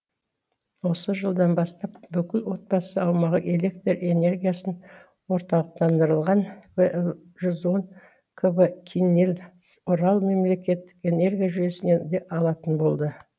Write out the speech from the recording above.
осы жылдан бастап бүкіл отбасы аумағы электр энергиясын орталықтандырылған вл жүз он кв киннель орал мемлекеттік энергия жүйесінен де алатын болды